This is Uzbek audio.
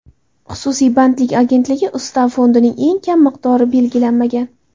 Xususiy bandlik agentligi ustav fondining eng kam miqdori belgilanmagan.